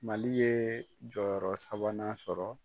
Mali ye jɔyɔrɔ sabanan sɔrɔ.